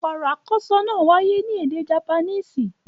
Ọ̀RỌ̀ àkọ́ọ́sọ náà wáyé ní èdè Japanese.